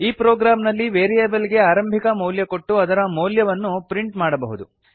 ಈ ಪ್ರೊಗ್ರಾಮ್ ನಲ್ಲಿ ವೇರಿಯೇಬಲ್ ಗೆ ಆರಂಭಿಕ ಮೌಲ್ಯ ಕೊಟ್ಟು ಅದರ ಮೌಲ್ಯವನ್ನು ಪ್ರಿಂಟ್ ಮಾಡಬಹುದು